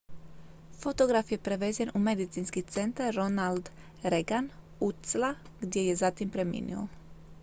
fotograf je prevezen u medicinski centar ronald reagan ucla gdje je zatim preminuo